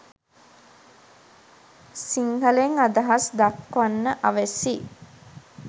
සිංහලෙන් අදහස් දක්වන්න අවැසි